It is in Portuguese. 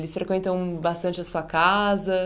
Eles frequentam bastante a sua casa?